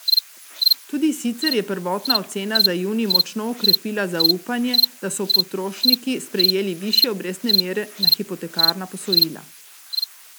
Tudi sicer je prvotna ocena za junij močno okrepila zaupanje, da so potrošniki sprejeli višje obrestne mere na hipotekarna posojila.